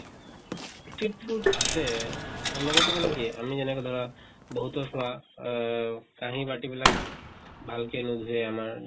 street food আছে, তেওঁলোকেতো মানে কি আমি যেনেকে ধৰা বহুতৰ পৰা আহ কাহি বাতি বিলাক ভাল কে নোধোয়ে আমাৰ